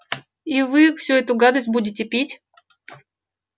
и вы всю эту гадость будете пить